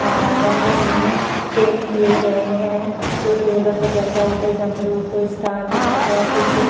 अम्म रंगों मे पेंट किये गए हैं। कोई ठोलक बजाता हुआ कोई डमरू कोई सितार बजाता हुआ। पीछे --